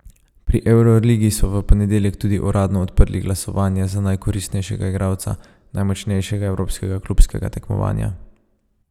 Pri evroligi so v ponedeljek tudi uradno odprli glasovanje za najkoristnejšega igralca najmočnejšega evropskega klubskega tekmovanja.